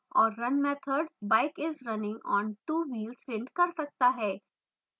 और run method bike is running on 2 wheels print कर सकता है